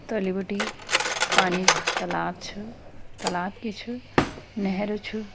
तलि बिटि पानी क तालाब छ तालाब की छ नहर छ।